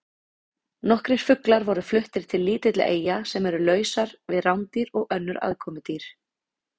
Nokkrir fuglar voru fluttir til lítilla eyja sem eru lausar við rándýr og önnur aðkomudýr.